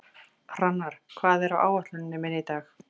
Hrannar, hvað er á áætluninni minni í dag?